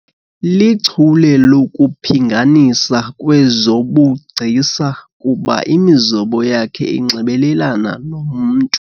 Lichule lokuphinganisa kwezobugcisa kuba imizobo yakhe inxibelelana nomntu.